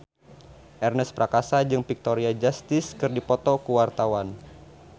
Ernest Prakasa jeung Victoria Justice keur dipoto ku wartawan